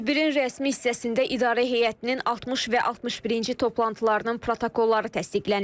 Tədbirin rəsmi hissəsində İdarə Heyətinin 60 və 61-ci toplantılarının protokolları təsdiqlənib.